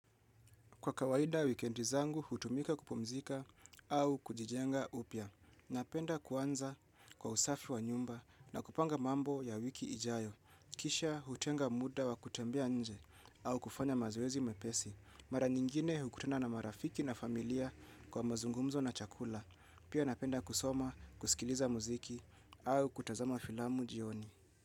Kwa kawaida wikendi zangu, hutumika kupumzika au kujijenga upya. Napenda kuanza kwa usafi wa nyumba na kupanga mambo ya wiki ijayo. Kisha hutenga muda wa kutembia nje au kufanya mazoezi mepesi. Mara nyingine hukutana na marafiki na familia kwa mazungumzo na chakula. Pia napenda kusoma, kusikiliza muziki au kutazama filamu jioni.